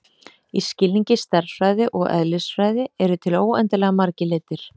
Í skilningi stærðfræði og eðlisfræði eru til óendanlega margir litir.